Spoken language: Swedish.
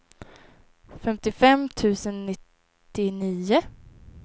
femtiofem tusen nittionio